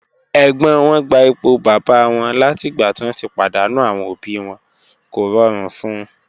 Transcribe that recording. Ẹ̀gbọ́n wọn gba ipò bàbá wọn látìgbà tí wọ́n ti pàdánù àwọn òbí wọn, kò rọrùn fún un.